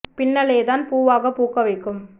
பின்னலேதான் பூவாகப் பூக்க வைக்கும்